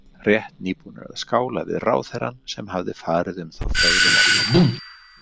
Rétt nýbúnir að skála við ráðherrann sem hafði farið um þá fögrum orðum.